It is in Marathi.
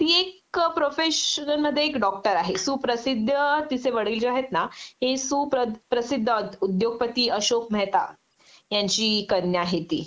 ती एक प्रोफेशनमध्ये एक डॉक्टर आहे सुप्रसिद्ध तिचे वडील जे आहेत ना ते सुप्रसिद्ध उद्योगपती अशोक मेहता यांची कन्या आहे ती